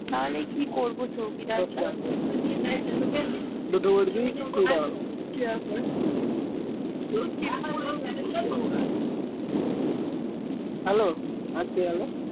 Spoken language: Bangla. তাহলে কি করব চৌকিদার দার দা ।